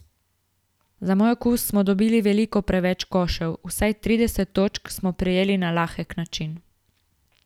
Za moj okus smo dobili veliko preveč košev, vsaj trideset točk smo prejeli na lahek način.